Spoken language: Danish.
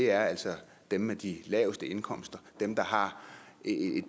er altså dem med de laveste indkomster dem der har